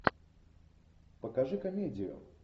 покажи комедию